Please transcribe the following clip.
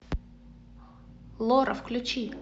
лора включи